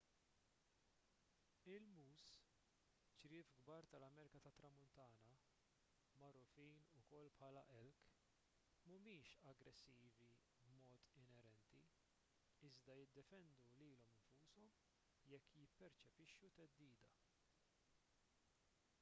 il-”moose” ċriev kbar tal-amerika tat-tramuntana magħrufin ukoll bħala elk mhumiex aggressivi b’mod inerenti iżda jiddefendu lilhom infushom jekk jipperċepixxu theddida